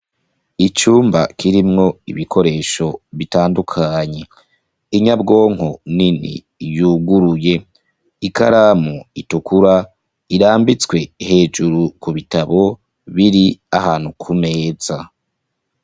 Icumba kirimwo ibikoresho bitandukanye inyabwonko nini yuguruye ikaramu itukura irambitswe hejuru ku bitabo biri ahantu ku meza.